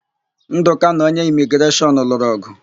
Ndụka na onye Imigreshọn lụrụ ọ̀gụ̀.